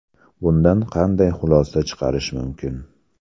Bundan qanday xulosa chiqarish mumkin?